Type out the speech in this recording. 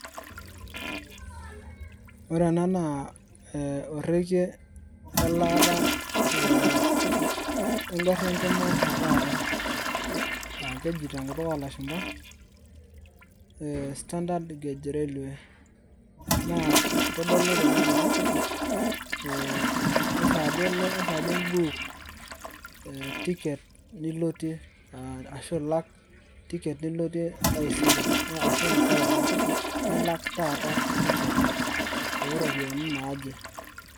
Ore ena naa orege lelaata ee e engarienkima etaata, keju tenkutuk olashumba standard gauge railway naa keitodolu tene ajo ee kesaaja elo, kesaaja imbuuk ee ticket nilotie arashu ilak ticket nilotie taisere arashu enkailong, nilak taata tiket oropiyiani naaje.